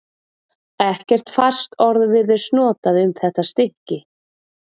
Ekkert fast orð virðist notað um þetta stykki.